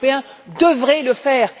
Les Européens devraient le faire.